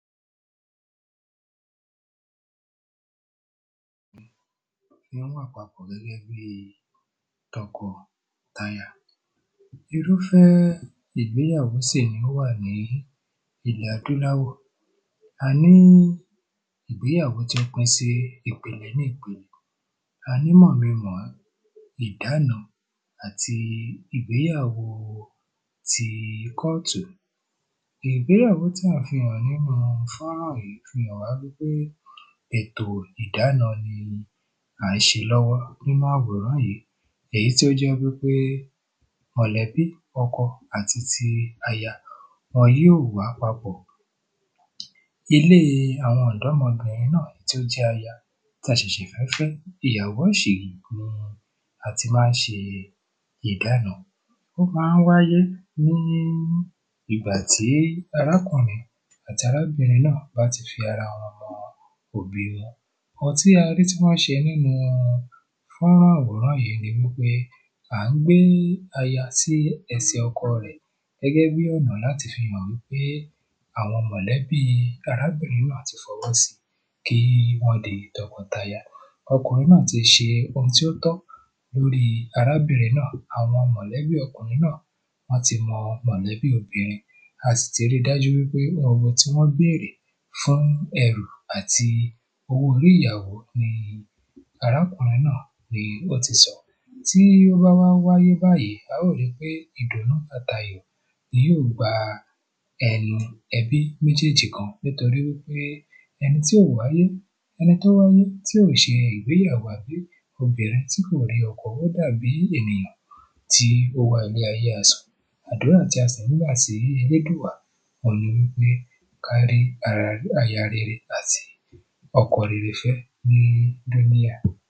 Irúfẹ́ ìgbéyàwó sì ni ó wà ní ilẹ̀ adúláwọ̀. A ní ìgbéyàwó tí ó pín sí ìpele ní ìpele a ní mọ̀ mi n mọ̀ ọ́ ìdána àti ìgbéyàwó ti kọ́ọ̀tù. Ìgbéyàwó tá fi hàn wá nínú fọ́nrán yìí fi hàn wípé ètò ìdána ni à ń ṣe lọ́wọ́ nínú àwòrán yìí èyí tó jẹ́ wípé mọ̀lẹ́bí ọkọ àti aya wọn yóò wà papọ̀ ilé àwọn ọ̀dọ́mọbìrin náà tí ó jẹ́ aya tá ṣẹ̀sẹ̀ fẹ́ fẹ́ ìyàwó ọ̀ṣìngín la ti má ń ṣe ìdána. Ó má ń wáyé ní ìgbà tí arákùrin àti arábìrin náà bá ti fi ara wọn mọ òbí. Ohun tí a rí tí wọ́n ṣe nínú fọ́nrán àwòrán yìí ni wípé à ń gbé aya sí ẹsẹ̀ ọkọ rẹ̀ gẹ́gẹ́ bí ọ̀nà láti fi mọ̀ wípé àwọn mọ̀lẹ́bí arábìrin náà ti fọwọ́ sí kí wọ́n di tọkọ taya. ọkùnrin náà ti ṣe ohun tí ó tọ́ lórí arábìnrin náà àwọn mọ̀lẹ́bí ọkùnrin náà wọ́n ti mọ mọ̀lẹ́bí obìnrin a sì ti rí dájú wípé ọmọ tí wọ́n bí rèé fún ẹrù àti owó orí ìyàwó ni arákùnrin náà? Tí ó bá wá wáyé báyìí a ó ri pé ìdùnú àtayọ̀ ni yó gba ẹnu ẹbí méjéjì gan nítoríwípé ẹnití ò wáyé ẹni tí ó wáyé tí ò ṣe ìgbéyàwó obìnrin tí kò rí ọkọ ó dàbí ènìyàn tí ó wá ilé ayé asán àdúrà tí a sì ń gbà sí elédùà on nipé ká rí aya rere àti ọkọ rere fẹ́ ní?